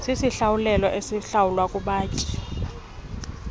sisinikelo esihlawulwa kubatyai